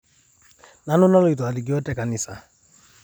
Nanu naloito alikoo tenkanisa